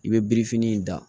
I bɛ birifini in da